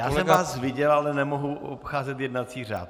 Já jsem vás viděl, ale nemohu obcházet jednací řád.